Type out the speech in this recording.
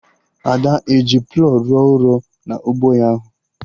Ada ehi plawụ rụọ ọrụ na ụgbọ ya ahụ?